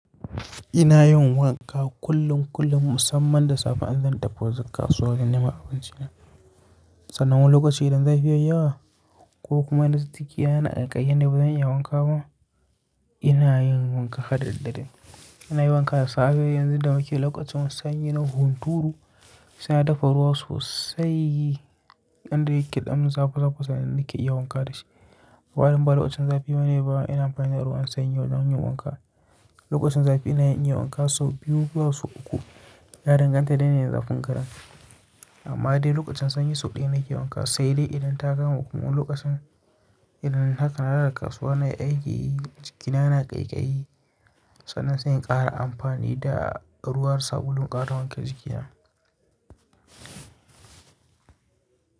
Ina yin wanka kullum kullum musamman da safe an zan tafi kasuwa wurin neman abinci na. Sanan lokaci idan zafi yayi yawa ko kuma idan jiki yana kaikayi yadda bazan iya yin wanka ba, ina yin wanka harda daddare. Ina yin wanka da safe yanzu da muke lokacin sanyi na hunturu, saina dafa ruwa sosai inda yake dan zafi zafi sannan nake iya wanka dashi. Saboda in ba lokacin zafi bane ba, ina amfani da ruwan sanyi don yin wanka. Lokacin zafi ina yin wanka sau biyu ko sau uku, ya danganta da yanayin zafin garin. Amma dai lokacin sanyi sau ɗaya nake yin wanka, sai dai idan ta kama kuma wani lokacin idan haka har a kasuwa nai aiki jikina yana ƙaiƙayi, sannan sai in ƙara amfani da ruwan sabulun in ƙara wanke jikina.